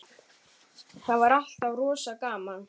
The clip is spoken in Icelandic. Það er alltaf rosa gaman.